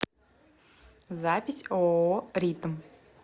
запись ооо ритм